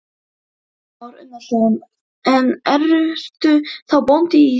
Kristján Már Unnarsson: En ertu þá bóndi í þér?